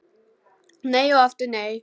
Nei og aftur nei.